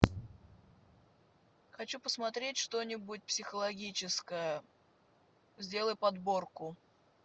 хочу посмотреть что нибудь психологическое сделай подборку